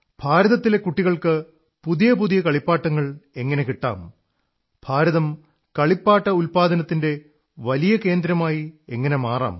ഭാരതത്തിലെ കുട്ടികൾക്ക് പുതിയ പുതിയ കളിപ്പാട്ടങ്ങൾ എങ്ങനെ കിട്ടാം ഭാരതം കളിപ്പാട്ട ഉത്പാദനത്തിന്റെ വലിയ കേന്ദ്രമായി എങ്ങനെ മാറാം